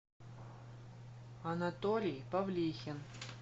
анатолий павлихин